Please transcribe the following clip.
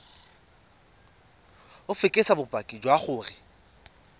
o fekese bopaki jwa gore